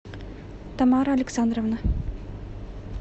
тамара александровна